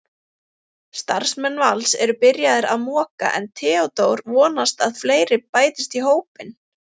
Starfsmenn Vals eru byrjaðir að moka en Theódór vonast að fleiri bætist í hópinn.